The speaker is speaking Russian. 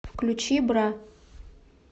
включи бра